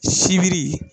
Sibiri